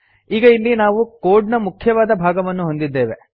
ಈಗ ಇಲ್ಲಿ ನಾವು ಕೋಡ್ ನ ಮುಖ್ಯವಾದ ಭಾಗವನ್ನು ಹೊಂದಿದ್ದೇವೆ